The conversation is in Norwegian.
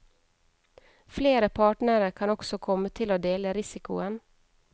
Flere partnere kan også komme til å dele risikoen.